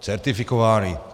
Certifikovány.